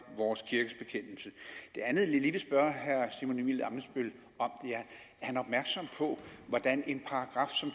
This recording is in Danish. vores kirkes bekendelse det andet jeg lige vil spørge herre simon emil ammitzbøll om er er han opmærksom på hvordan en paragraf som